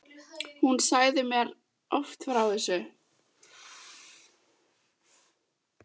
Hún sagði mér oft frá þessu.